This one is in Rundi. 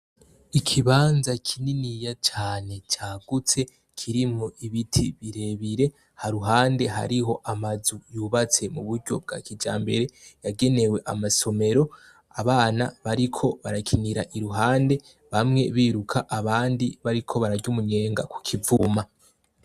ikibanza kininiya cane cagutse kirimwo ibiti birebire haruhande hariho amazu yubatse mu buryo bwa kijambere yagenewe amasomero abana bariko barakinira iruhande bamwe biruka abandi bariko bararya umunyenga ku kivuma.